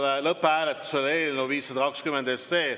Panen lõpphääletusele eelnõu 520.